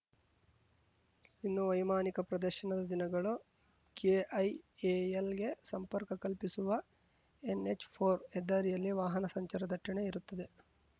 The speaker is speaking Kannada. ಇನ್ನು ವೈಮಾನಿಕ ಪ್ರದರ್ಶನ ದಿನಗಳು ಕೆಐಎಎಲ್‌ಗೆ ಸಂಪರ್ಕ ಕಲ್ಪಿಸುವ ಎನ್‌ಎಚ್‌ಫೋರ್ ಹೆದ್ದಾರಿಯಲ್ಲಿ ವಾಹನ ಸಂಚಾರ ದಟ್ಟಣೆ ಇರುತ್ತದೆ